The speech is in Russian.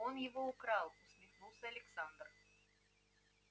он его украл усмехнулсь александр